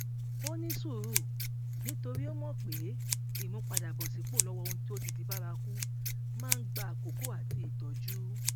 ó ní sùúrù nítorí ó mò pé ìmúpadàbọsípò lọwọ ohun tó ti di bárakú máa ń gba àkókò àti ìtọjú